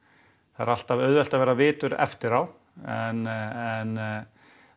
það er alltaf auðvelt að vera vitur eftir á en